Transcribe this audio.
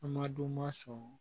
An madonma sɔn